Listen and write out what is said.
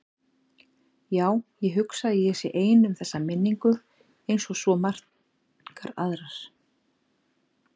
Já, ég hugsa að ég sé ein um þessa minningu einsog svo margar aðrar.